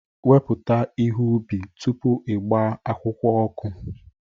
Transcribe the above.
Wepụta ihe ubi tupu ị gbaa akwụkwọ